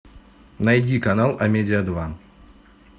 найди канал амедиа два